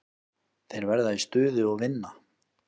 Þeir verða í stuði og vinna.